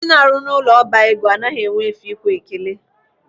Ndị na-arụ n'ụlọ ọba ego anaghị enwe efe ikwe ekele.